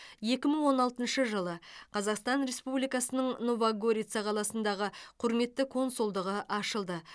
екі мың он алтыншы жылы қазақстан республикасының нова горица қаласындағы құрметті консулдығы ашылды